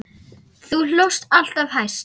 Þú hlóst alltaf hæst.